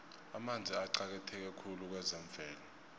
amanzi aqakatheke khulu kwezemvelo